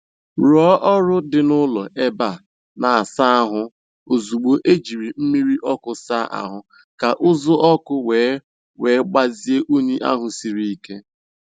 Rụọ ọrụ dị n'ụlọ ebe a na - asa ahụ ozugbo e jiri mmiri ọkụ saa ahụ, ka uzu ọkụ wee wee gbazia unyi ahụ siri ike.